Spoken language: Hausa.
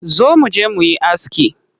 Zo muje muyi aski.